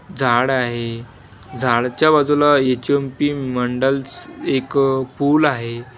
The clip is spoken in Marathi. झाड आहे झाडच्या बाजूला एच_ए_म_पी मंडल्स एक पूल आहे.